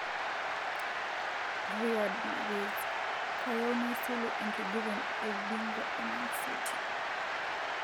Riyad Mahrez:kayieu naisulu enkiguran eubingwa e Mancity.